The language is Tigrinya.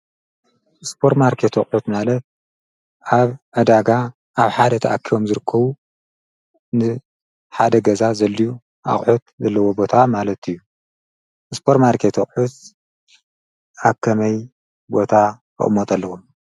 እስጶር ማርከቶ ዑት ማለ ኣብ ኣዳጋ ኣብ ሓደ ተኣኪቦም ዘርከዉ ን ሓደ ገዛኣለዉን። ኣዑት ዘለዎ ቦታ ማለት እዩ እስጶር ማርከቴ ዑት ኣከመይ ቦታ እቕሞት ኣለዉ።